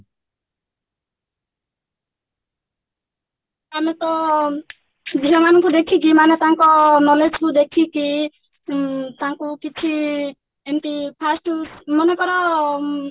ଆମେ ତ ଝିଅ ମାନଙ୍କୁ ଦେଖିକି ମାନେ ତାଙ୍କ knowledge କୁ ଦେଖିକି ଉଁ ତାଙ୍କୁ କିଛି ଏମତି first ମନେକର